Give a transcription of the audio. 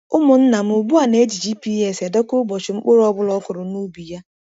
Umunna m ugbu a na-eji GPS edekọ ụbọchị mkpụrụ ọ bụla o kụrụ n’ubi ya.